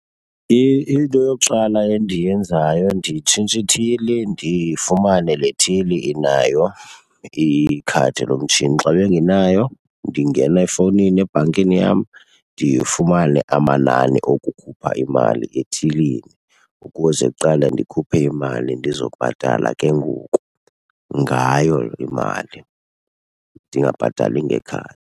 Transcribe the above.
Into yokuqala endiyenzayo nditshintsha ithili ndifumane le thili inayo ikhadi lomtshini. Xa bengenayo, ndingena efowunini ebhankini yam ndifumane amanani okukhupha imali ethilini ukuze kuqala ndikhuphe imali ndizokubhatala ke ngoku ngayo imali ndingabhatali ngekhadi.